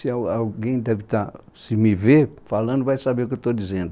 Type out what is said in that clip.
Se al alguém deve estar, se me ver falando, vai saber o que eu estou dizendo.